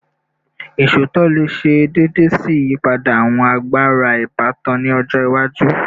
Iṣootọ le ṣe deede si iyipada awọn agbara ibatan ni ọjọ iwaju